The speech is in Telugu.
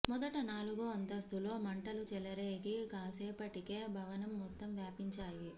మొదట నాలుగో అంతస్తులో మంటలు చెలరేగి కాసేపటికే భవనం మొత్తం వ్యాపించాయి